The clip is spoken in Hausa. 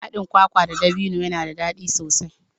Haɗin kwakwa da ɗabino yana da daɗi sosai.